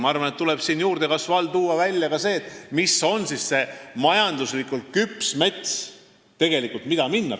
Ma arvan, et juurdekasvu all tuleb välja tuua ka see, mis on tegelikult see majanduslikult küps mets, mida võib minna raiuma.